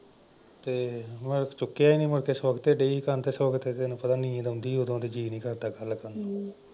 ਤੇ ਮੈਂ ਚੁੱਕਿਆ ਨਈਂ ਮੁੜ ਕੇ ਸਵਖ਼ਤੇ ਡਈ ਸੀ ਕਰਨ ਤੇ ਸਵਖ਼ਤੇ ਤੈਨੂੰ ਪਤਾ ਨੀਂਦ ਆਉਂਦੀ ਉਦੋਂ ਤੇ ਜੀਅ ਨਈਂ ਕਰਦਾ ਗੱਲ ਕਰਨ ਦਾ।